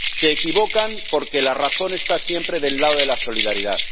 Se equivocan porque la razón está siempre del lado de la solidaridad.